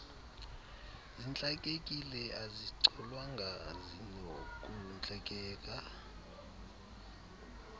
zintlakekile azicolwanga zinokuntlakeka